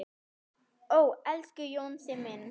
Ó, elsku Jónsi minn.